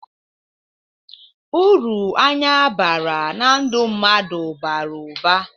Uru anya bara na ndụ mmadụ balụ ụba.